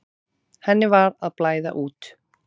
Henni var að blæða út.